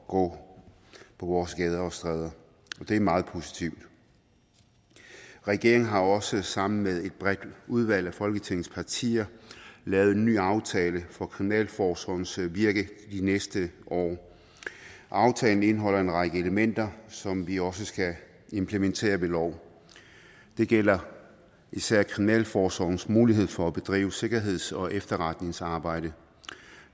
gå på vores gader og stræder og det er meget positivt regeringen har også sammen med et bredt udvalg af folketingets partier lavet en ny aftale for kriminalforsorgens virke de næste år aftalen indeholder en række elementer som vi også skal implementere ved lov det gælder især kriminalforsorgens mulighed for at bedrive sikkerheds og efterretningsarbejde